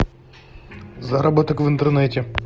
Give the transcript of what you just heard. заработок в интернете